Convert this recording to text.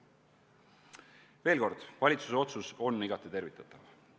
Veel kord, valitsuse otsus on igati tervitatav.